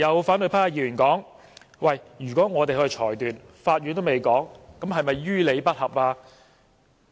反對派的議員剛才說，如果我們較法院更早作出裁決，是否於理不合？